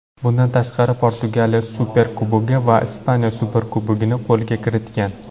Bundan tashqari Portugaliya Superkubogi va Ispaniya Superkubogini qo‘lga kiritgan.